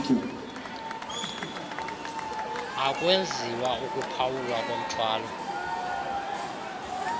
akwenziwa ukuphawulwa komthwalo